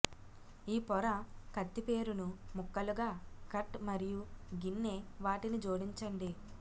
ఈ పొర కత్తి పేరును ముక్కలుగా కట్ మరియు గిన్నె వాటిని జోడించండి